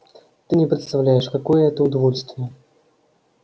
ты не представляешь какое это удовольствие